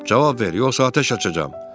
Cavab ver, yoxsa atəş açacam.